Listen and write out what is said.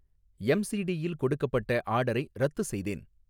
எம்.சி.டி.யில் கொடுக்கப்பட்ட ஆர்டரை ரத்து செய்தேன்